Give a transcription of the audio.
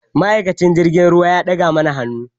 Ma'aikacin jirgin ruwa ya ɗaga muna hannu